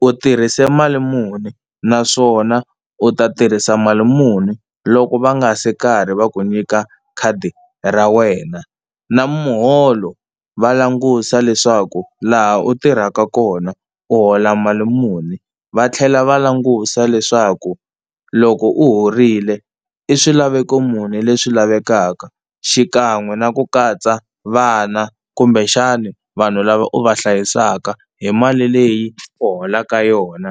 u tirhise mali muni naswona u ta tirhisa mali muni loko va nga se karhi va ku nyika khadi ra wena, na muholo va langusa leswaku laha u tirhaka kona u hola mali muni, va tlhela va langusa leswaku loko u horile i swilaveko muni leswi lavekaka xikan'we na ku katsa vana kumbexani vanhu lava u va hlayisaka hi mali leyi u holaka yona.